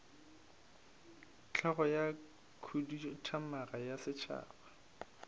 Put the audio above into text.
hlogo ya khuduthamaga ya setšhaba